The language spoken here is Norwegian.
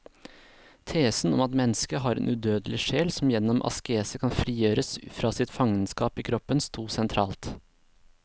Tesen om at mennesket har en udødelig sjel som gjennom askese kan frigjøres fra sitt fangenskap i kroppen, stod sentralt.